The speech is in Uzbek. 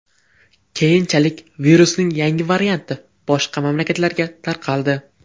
Keyinchalik virusning yangi varianti boshqa mamlakatlarga tarqaldi .